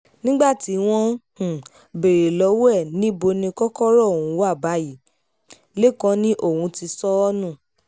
nígbà tí wọ́n um béèrè lọ́wọ́ ẹ̀ pé níbo ni kòkòrò ọ̀hún wà báyìí lẹ́kàn ni òun ti sọ um ọ́ nù